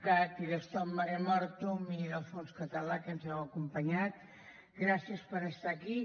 cat i de stop mare mortum i del fons català que ens heu acompanyat gràcies per estar aquí